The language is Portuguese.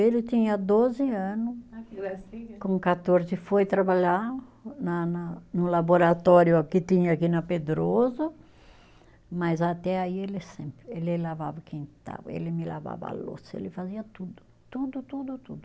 Ele tinha doze ano. Que gracinha. Com quatorze foi trabalhar na na, no laboratório que tinha aqui na Pedroso, mas até aí ele sempre, ele lavava o quintal, ele me lavava a louça, ele fazia tudo, tudo, tudo, tudo.